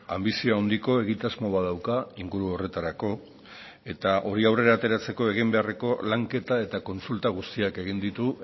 anbizio handiko egitasmo bat dauka inguru horretarako eta hori aurrera ateratzeko egin beharreko lanketa eta kontsulta guztiak egin ditu